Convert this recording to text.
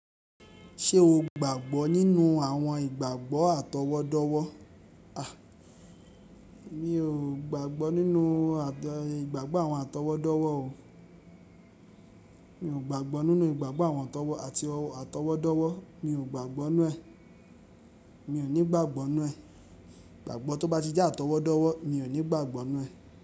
Ṣé o gbàgbọ́ nínú àwọn ìgbàgbọ́ atọwọ́dọ́wọ́? A! Mi ò gbàgbọ́ nínú ìgbàgbọ́ àwọn atọwọ́dọ́wọ́ o. Mi ò gbàgbọ́ nínú ìgbàgbọ́ àwọn atọwọ́ àti atọwọ́dọ́wọ́. Mi ò gbàgbọ́ nu ẹ. Mi ò ní gbàgbọ́ náà ẹ. Ìgbàgbọ́ tó bá ti jẹ́ atọwọ́dọ́wọ́, mi ò ní gbàgbọ́ nu ẹ.